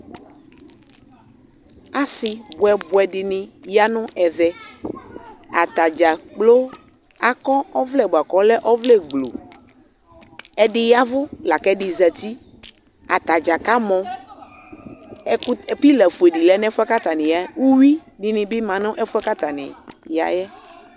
ase boɛ boɛ dini ya no ɛvɛ atadza kplo akɔ ɔvlɛ boa kò ɔlɛ ɔvlɛ gblu ɛdi yavu lako ɛdi zati atadza kamɔ ɛkutɛ pila fue di ya n'ɛfuɛ k'atani ya yɛ uwi dini ma n'ɛfuɛ k'atani ya yɛ